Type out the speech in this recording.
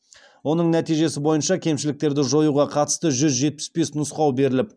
оның нәтижесі бойынша кемшіліктерді жоюға қатысты жүз жетпіс бес нұсқау беріліп